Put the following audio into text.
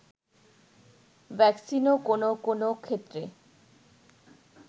ভ্যাকসিনও কোনো কোনো ক্ষেত্রে